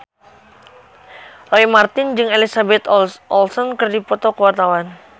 Roy Marten jeung Elizabeth Olsen keur dipoto ku wartawan